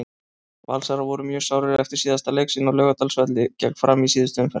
Valsarar voru mjög sárir eftir síðasta leik sinn á Laugardalsvelli gegn Fram í síðustu umferð.